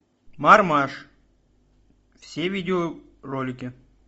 мармаш все видеоролики